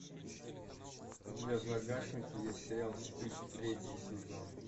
у тебя в загашнике есть сериал стыд третий сезон